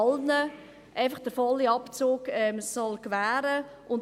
Man will allen den vollen Abzug gewähren.